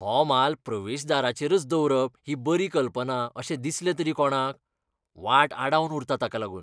हो माल प्रवेशदाराचेरच दवरप ही बरी कल्पना अशें दिसलें तरी कोणाक? वाट आडावन उरता ताका लागून.